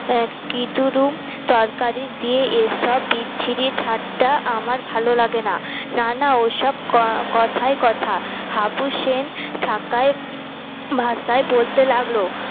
আ কি ধরুম তরকারি দিয়ে এসব বিচ্ছিরি ঠাট্টা আমার ভালো লাগেনা না না ওসব কথায় কথা হাবু সেন ঢাকায় ভাষায় বলতে লাগলো